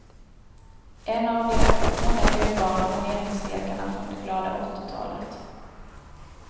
En av de många dyrbara planeringslekarna från det glada åttiotalet.